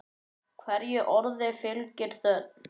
Hverju orði fylgir þögn.